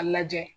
A lajɛ